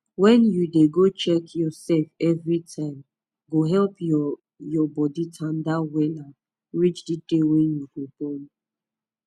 wen u dey go check your sef evri time go help your your body tanda wella reach d day wey you go born